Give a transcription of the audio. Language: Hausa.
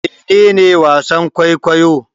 Mene ne wasan-kwaikwayo?